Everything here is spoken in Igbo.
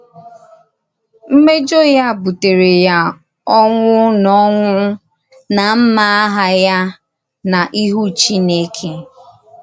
Mmèjọ ya bùtèrè ya ọnwụ́ na ọnwụ́ na mmà àhà ya n’ìhù Chínèkè.